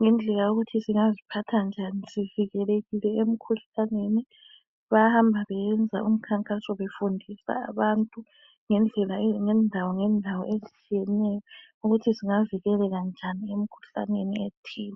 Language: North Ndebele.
ngendlela yokuthi singaziphatha njani sivikelekile emkhuhlaneni. Bayahamba beyenza umkhankaso befundisa abantu ngendawongendawo ezitshiyeneyo ukuthi singavikeleka njani emkhuhlaneni ethile.